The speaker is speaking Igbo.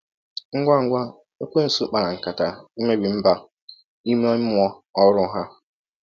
Ngwa ngwa ekwensu kpara nkata imebi mba ime mmụọ ọhụrụ a.